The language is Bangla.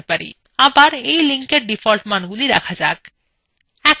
আবার এর লিংক এর ডিফল্ট মানগুলি রাখা যাক